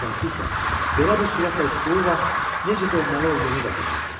Ən əsası isə belə bir sürətlə uçduğu vaxt necə ölməli olduğunu da bilmirdi.